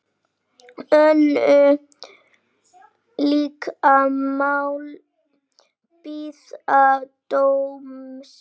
Önnur lík mál bíða dóms.